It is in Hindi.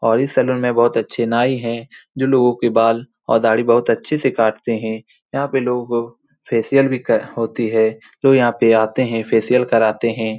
और इस सैलून में बहुत अच्छे नाई हैं जो लोगो के बाल और दाढ़ी बहुत अच्छे से काटते हैं यहाँ पे लोग फेसिअल भी होती हैं लोग यहाँ पे आते हैं फेसिअल कराते हैं ।